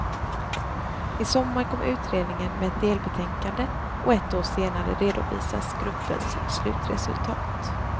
I sommar kommer utredningen med ett delbetänkande och ett år senare redovisas gruppens slutresultat.